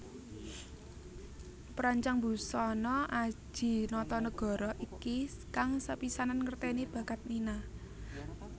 Perancang busana Adji Notonegoro iki kang sepisanan ngertèni bakat Nina